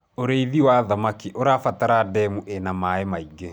ũrĩithi wa thamakĩ ũrabatara ndemu ina maĩ maĩngi